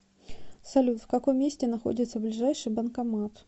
салют в каком месте находится ближайший банкомат